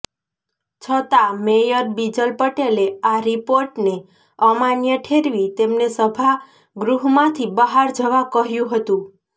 છતાં મેયર બિજલ પટેલે આ રિપોર્ટને અમાન્ય ઠેરવી તેમને સભાગૃહમાંથી બહાર જવા કહ્યું હતું